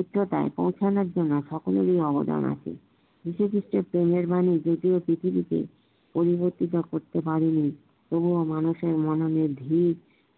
উচ্চতায় পৌছানোর জন্যে সকলেরই অবদান আছে যীশু খ্রীষ্টের পূর্ণের বাণী যদিও পৃথিবীতে অনুবর্তীত করতে পারেনি এবং মানুষের মনের